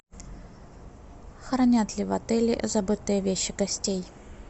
хранят ли в отеле забытые вещи гостей